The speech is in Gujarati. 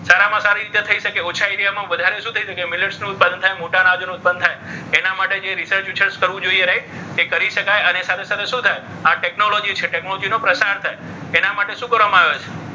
સારામાં સારી રીતે થઈ શકે ઓછા એવી એમાં વધારે શું થાય? મિનિટ્સનું ઉત્પાદન થાય મોટા અનાજોનું ઉત્પન્ન થાય. એના માટે જે research રિસર્ચ કરવું જોઈએ. right એ કરી શકાય. અને સાથે સાથે શું થાય? આ ટેકનોલોજી છે ટેકનોલોજી નો પ્રચાર થાય. એના માટે શું કરવામાં આવે છે?